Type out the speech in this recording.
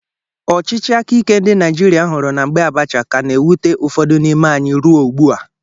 Ọchịchị aka ike ndị Naijiria huru na mgbe Abacha ka na-ewute ụfọdụ n'ime anyị ruo ugbua.